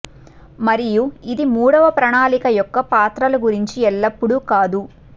మరియు ఇది మూడవ ప్రణాళిక యొక్క పాత్రల గురించి ఎల్లప్పుడూ కాదు